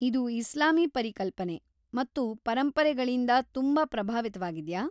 ಇದು ಇಸ್ಲಾಮೀ ಪರಿಕಲ್ಪನೆ ಮತ್ತು ಪರಂಪರೆಗಳಿಂದಾ ತುಂಬಾ ಪ್ರಭಾವಿತವಾಗಿದ್ಯಾ?